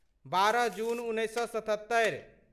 बारह जून उन्नैस सए सतहत्तरि